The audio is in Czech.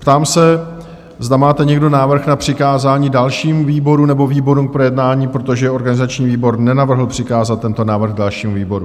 Ptám se, zda máte někdo návrh na přikázání dalšímu výboru nebo výborům k projednání, protože organizační výbor nenavrhl přikázat tento návrh dalšímu výboru?